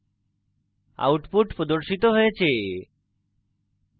output প্রদর্শিত হয়েছে